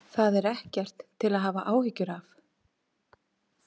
Það er ekkert til að hafa áhyggjur af.